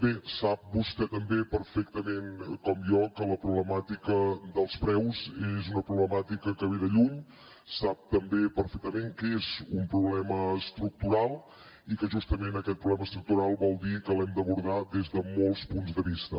bé sap vostè també perfectament com jo que la problemàtica dels preus és una problemàtica que ve de lluny sap també perfectament que és un problema estructural i que justament aquest problema estructural vol dir que l’hem d’abordar des de molts punts de vista